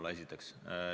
Seda esiteks.